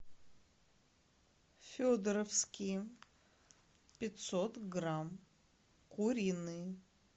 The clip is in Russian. федоровские пятьсот грамм куриные